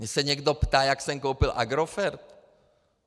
Mě se někdo ptá, jak jsem koupil Agrofert?